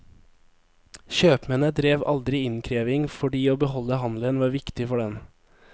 Kjøpmennene drev aldri innkreving fordi å beholde handelen var viktig for dem.